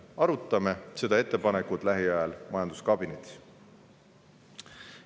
Arutame seda ettepanekut lähiajal majanduskabinetis.